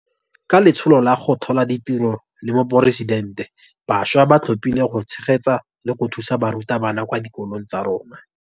Ka Letsholo la go Tlhola Ditiro la Moporesidente, bašwa ba thapilwe go tshegetsa le go thusa barutabana kwa dikolong tsa rona.